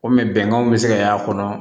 O mɛ bɛnkanw bɛ se ka y'a kɔnɔ